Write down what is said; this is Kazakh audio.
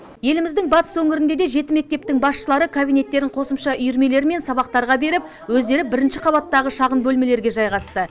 еліміздің батыс өңірінде де жеті мектептің басшылары кабинеттерін қосымша үйірмелер мен сабақтарға беріп өздері бірінші қабаттағы шағын бөлмелерге жайғасты